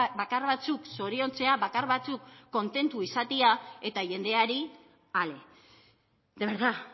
bakar batzuk zoriontzea bakar batzuk kontentu izatea eta jendeari ale de verdad